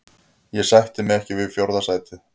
Ég sætti mig ekki við fjórða sætið.